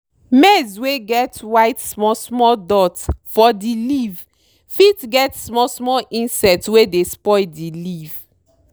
maize wey get white small small dot for di leave fit get small small insect wey dey spoil di leave.